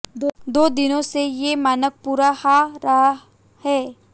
दो दिनों से ये मानक पूरा हा रहा है